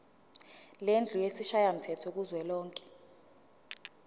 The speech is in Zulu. lendlu yesishayamthetho kuzwelonke